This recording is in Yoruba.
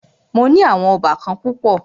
Mó ní àwọn óbàkan púpọ̀.